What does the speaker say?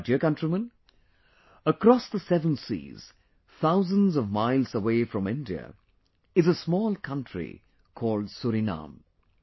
My dear countrymen, across the seven seas, thousands of miles away from India is a small country called "Suriname"